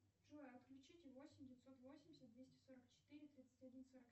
джой отключите восемь девятьсот восемьдесят двести сорок четыре тридцать один сорок